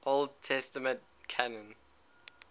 old testament canon